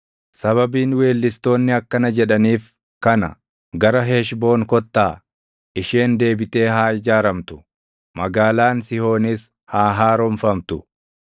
Sababiin weellistoonni akkana jedhaniif kana: “Gara Heshboon kottaa; isheen deebitee haa ijaaramtu; Magaalaan Sihoonis haa haaromfamtu.